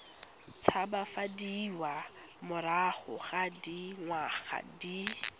tshabafadiwa morago ga dingwaga di